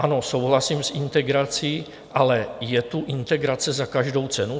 Ano, souhlasím s integrací, ale je tu integrace za každou cenu?